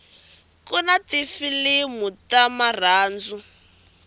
kuna tifilimu ta marhandzu